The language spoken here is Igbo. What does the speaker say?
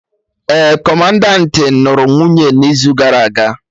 Ee, Kọmandanti nụrụ nwunye n'izu gara aga